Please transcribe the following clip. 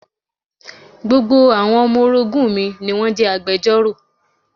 Gbogbo àwọn ọmọ orogún mi ni wón jẹ́ agbejọ́rò.